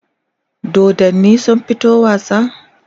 dodannin sun fito wasa?